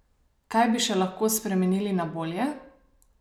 Kaj bi še lahko spremenili na bolje?